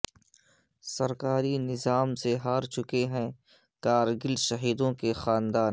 سرکاری نظام سے ہار چکے ہیں کارگل شہیدوں کے خاندان